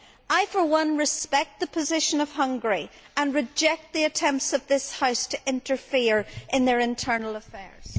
I for one respect the position of Hungary and reject the attempts of this House to interfere in its internal affairs.